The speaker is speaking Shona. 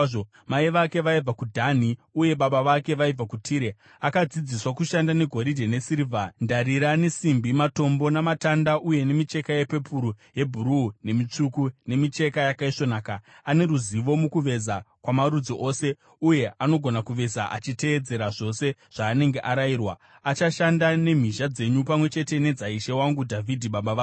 Mai vake vaibva kuDhani uye baba vake vaibva kuTire. Akadzidziswa kushanda negoridhe, nesirivha, ndarira, nesimbi, matombo namatanda uye nemicheka yepepuru neyebhuruu, nemitsvuku, nemicheka yakaisvonaka. Ane ruzivo mukuveza kwamarudzi ose uye anogona kuveza achiteedzera zvose zvaanenge arayirwa. Achashanda nemhizha dzenyu pamwe chete nedzaishe wangu Dhavhidhi baba vako.